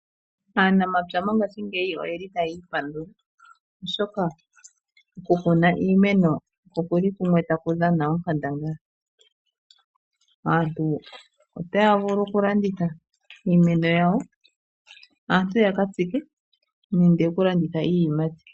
Aanamapya mongashingeyi oyeli taya ipandula oshoka okumuna iimeno okuli kumwe taku dhana onkandangala . Aantu otaya vulu okulanditha iimeno yawo, aantu yaka tsike nenge okulanditha iiyimati.